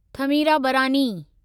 Thamirabarani